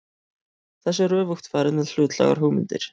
Þessu er öfugt farið með hlutlægar hugmyndir.